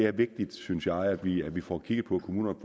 er vigtigt synes jeg at vi at vi får kigget på at kommunerne